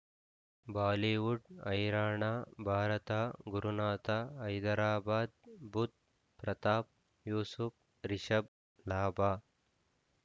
Bollywood ಹೈರಾಣ ಭಾರತ ಗುರುನಾಥ ಹೈದರಾಬಾದ್ ಬುಧ್ ಪ್ರತಾಪ್ ಯೂಸುಫ್ ರಿಷಬ್ ಲಾಭ